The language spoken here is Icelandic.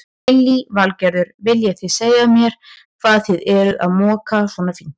Lillý Valgerður: Viljið þið segja mér hvað þið eruð að moka svona fínt?